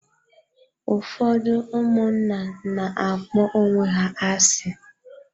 Ụfọdụ ụmụnna na-akpọ onwe ha asị.